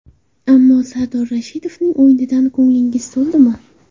Ammo Sardor Rashidovning o‘yinidan ko‘nglingiz to‘ldimi?